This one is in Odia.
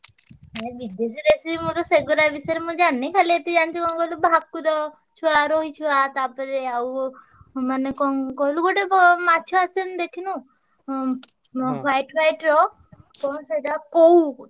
ନା ବିଦେଶୀ ଦେଶୀ ମୁଁ ତ ସେଗୁଡା ବିଷୟରେ ମୁଁ ଜାଣିନି ଖାଲି ଏତିକି ଜାଣିଚି କଣ କହିଲୁ ଭାକୁର ଛୁଆ, ରୋହି ଛୁଆ ତାପରେ ଆଉ ଉଁ ମାନେ କଣ କହିଲୁ ଗୋଟେ ବ ମାଛ ଆସେନି ଦେଖିନୁ ଉଁ white white ର କଣ ସେଇଟା କଉ,